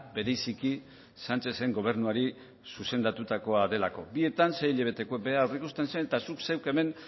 bereziki sánchezen gobernuari zuzendutakoa delako bietan sei hilabeteko beharra aurreikusten zen eta zuk zeuk hemen